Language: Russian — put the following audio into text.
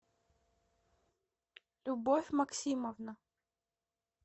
любовь максимовна